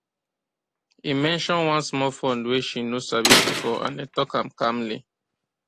e mention one small fund way she no sabi before and dem talk am calmly